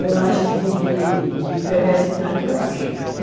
Eu acho de, de, de perversidade, eu acho.